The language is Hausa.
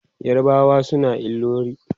yarbawa suna ilori